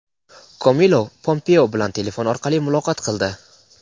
Komilov Pompeo bilan telefon orqali muloqot qildi.